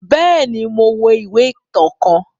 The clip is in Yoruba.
Bẹẹni, Mo wo ìwé ìtàn kàn